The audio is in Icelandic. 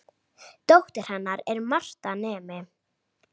Dóttir hennar er Marta nemi.